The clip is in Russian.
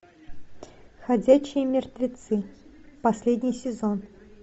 ходячие мертвецы последний сезон